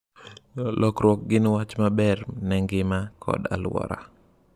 Lokiruok gi gin wach maber ne ngima kod aluora.